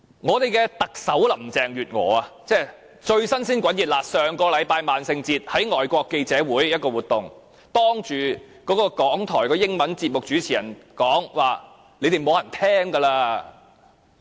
我們的特首林鄭月娥，剛剛於上星期的萬聖節，在外國記者會一場活動上，向港台的英文節目主持人指說現時已沒有人收聽他們的節目了。